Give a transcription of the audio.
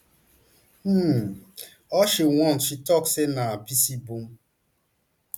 um all she want she tok say na picy bum